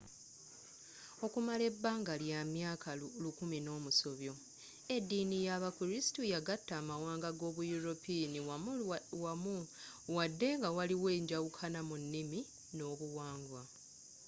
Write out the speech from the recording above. okumala ebanga ly'amyaka lukumi nomusobyo ediini yabakristu yagata amawanga gabayuropiinu wammu wadde nga waliwo enjawukana mu nimi n'obuwangwa